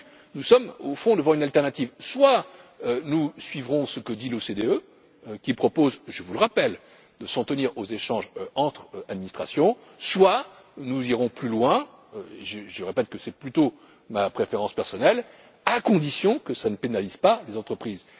Nous sommes donc au fond devant une alternative soit nous suivrons ce que dit l'OCDE, qui propose, je vous le rappelle, de s'en tenir aux échanges entre administrations, soit nous irons plus loin je le répète, c'est plutôt ma préférence personnelle, à condition que cela ne pénalise pas les entreprises.